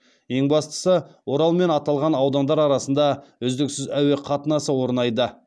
ең бастысы орал мен аталған аудандар арасында үздіксіз әуе қатынасы орнайды